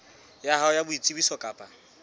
ya hao ya boitsebiso kapa